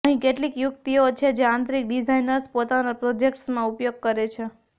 અહીં કેટલીક યુક્તિઓ છે જે આંતરિક ડિઝાઇનર્સ પોતાના પ્રોજેક્ટ્સમાં ઉપયોગ કરે છે